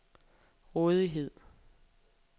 rådighed